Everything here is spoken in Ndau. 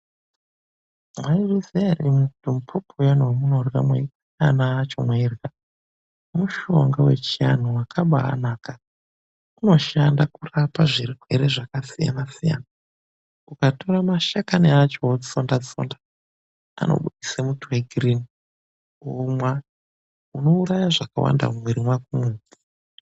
Mwaizviziya ere imwimwi kuti muphopho uyani wemunorya mweikaya ana acho mweirya, mushonga wechianthu wakabaanaka. Unoshanda kurapa zvirwere zvakasiyana-siyana. Ukatora mashakani acho wotsonda-tsonda, anobudisa muto wegirini womwa. Unouraya zvakawanda mumwiri mwakomwo.